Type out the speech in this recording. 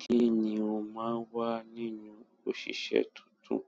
Kí ni o máa ń wa nínú òṣìṣẹ́ tuntun?